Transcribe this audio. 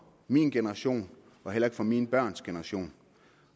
min generation og heller ikke for mine børns generation